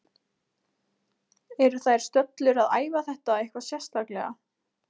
Eru þær stöllur að æfa þetta eitthvað sérstaklega?